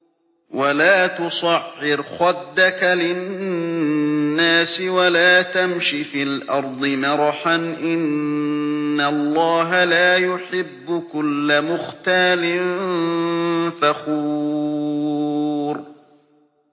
وَلَا تُصَعِّرْ خَدَّكَ لِلنَّاسِ وَلَا تَمْشِ فِي الْأَرْضِ مَرَحًا ۖ إِنَّ اللَّهَ لَا يُحِبُّ كُلَّ مُخْتَالٍ فَخُورٍ